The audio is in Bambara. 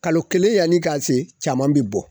Kalo kelen yani i ka se caman be bɔ.